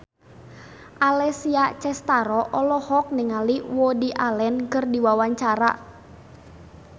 Alessia Cestaro olohok ningali Woody Allen keur diwawancara